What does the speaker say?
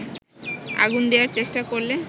আগুন দেয়ার চেষ্টা করলে